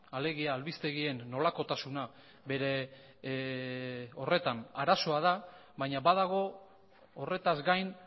alegia albistegien nolakotasuna bere horretan arazoa da baina badago horretaz gain